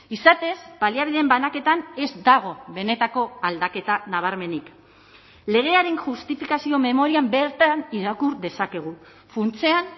izatez baliabideen banaketan ez dago benetako aldaketa nabarmenik legearen justifikazio memorian bertan irakur dezakegu funtsean